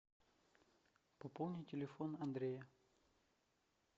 пополни телефон андрея